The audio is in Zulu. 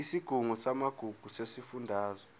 isigungu samagugu sesifundazwe